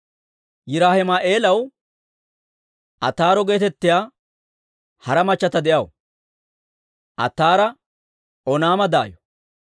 Yiraahima'eelaw Ataaro geetettiyaa hara machchata de'aw; Ataara Oonaama daayo.